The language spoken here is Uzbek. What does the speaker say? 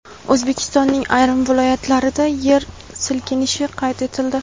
O‘zbekistonning ayrim viloyatlarida yer silkinishi qayd etildi.